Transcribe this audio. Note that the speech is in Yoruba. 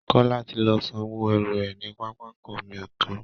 Kọ́lá ti lọ sanwó ẹrù rẹ̀ ní pápákọ omi Èkó